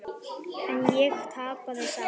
En ég tapaði samt.